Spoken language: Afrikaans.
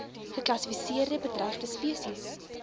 geklassifiseerde bedreigde spesies